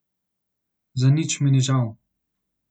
Za nič mi ni žal.